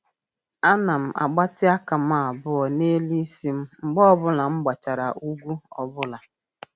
A na m gbatị aka m abụọ n'elu isi m mgbe ọ bụla m gbachara ugwu ọbụla.